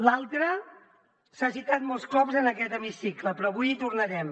l’altra s’ha citat molts cops en aquest hemicicle però avui hi tornarem